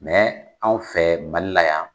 anw fɛ Mali la yan.